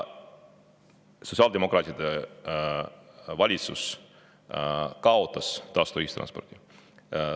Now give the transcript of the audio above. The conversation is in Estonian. Sotsiaaldemokraatide valitsus kaotas tasuta ühistranspordi.